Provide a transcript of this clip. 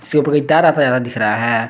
से ऊपर तार आता जाता दिख रहा है।